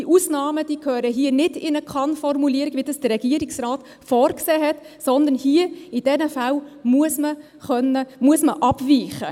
Die Ausnahmen gehören nicht in eine Kann-Formulierung wie vom Regierungsrat vorgesehen, sondern in diesen Fällen man abweichen.